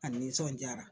A nisɔnjaara